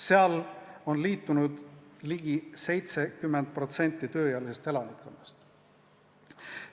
Seal on sellega liitunud ligi 70% tööealisest elanikkonnast.